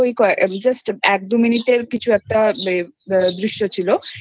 Justএক দুই মিনিট এর কিছু একটা দৃশ্য ছিল এতো